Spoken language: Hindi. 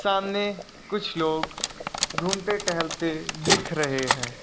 सामने कुछ लोग घूमते टहलते दिख रहे हैं।